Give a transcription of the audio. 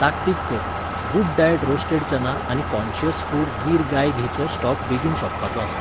ताकतीक कर, good diet roasted चना आनी काँशियस फूड गिर गाय घी चो स्टॉक बेगीन सोंपपाचो आसा.